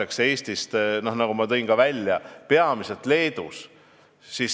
Seda kütust tangitakse peamiselt Leedus.